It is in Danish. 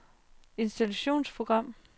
installationsprogram